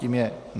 Tím je